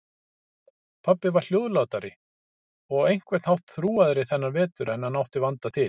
Pabbi var hljóðlátari og á einhvern hátt þrúgaðri þennan vetur en hann átti vanda til.